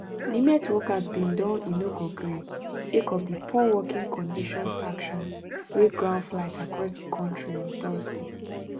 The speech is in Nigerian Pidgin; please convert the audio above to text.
nimet workers bin don inogogree sake of di poor working conditions action wy ground flights across di kontri on thursday